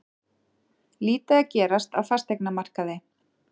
Lítið að gerast á fasteignamarkaði